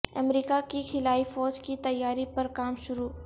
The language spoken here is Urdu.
امریکہ کی خلائی فوج کی تیاری پر کام شروع